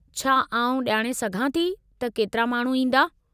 छा आउं ॼाणे सघां थी त केतिरा माण्हू ईंदा?